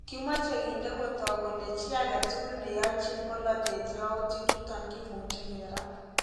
Kimache kinde kotok kole chi agetukul ne yachi polatet yautik chuton kimuche kerat